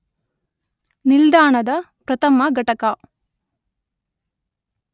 ನಿಲ್ದಾಣದ ಪ್ರಥಮ ಘಟಕ